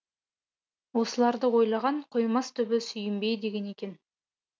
осыларды ойлаған қоймас түбі сүйінбей деген екен